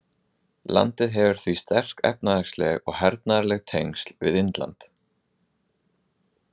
Landið hefur því sterk efnahagsleg og hernaðarleg tengsl við Indland.